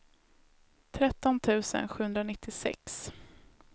tretton tusen sjuhundranittiosex